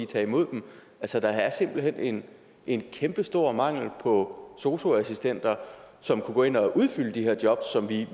tage imod dem altså der er simpelt hen en en kæmpestor mangel på sosu assistenter som kunne gå ind og udfylde de her job som vi